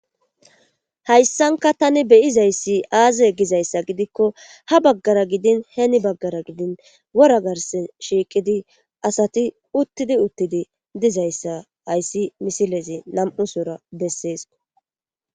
hayssanka tani beyizayssi aaze gizayssa gidikko ha baggara gidin heeni baggara gidin wora garse shiiqidi asati uttidi uttidi dizayssa ayssi misilezi nam7u sora bessees.